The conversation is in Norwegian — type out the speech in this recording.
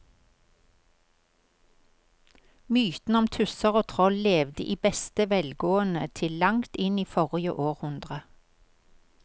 Mytene om tusser og troll levde i beste velgående til langt inn i forrige århundre.